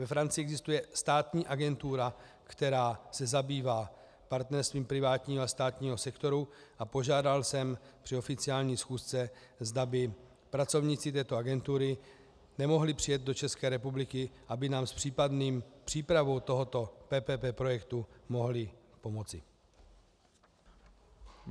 Ve Francii existuje státní agentura, která se zabývá partnerstvím privátního a státního sektoru, a požádal jsem při oficiální schůzce, zda by pracovníci této agentury nemohli přijet do České republiky, aby nám s případnou přípravou tohoto PPP projektu mohli pomoci.